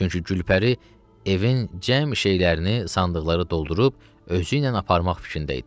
Çünki Gülpəri evin cəm şeylərini sandıqları doldurub özüylə aparmaq fikrində idi.